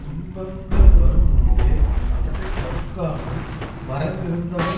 துன்பங்கள் வரும் முன்பே அவற்றை தடுக்காமல் மறந்திருந்தவன்